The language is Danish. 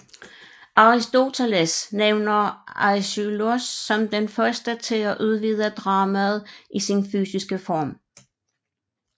Aristoteles nævner Aischylos som den første til at udvide dramaet i sin fysiske form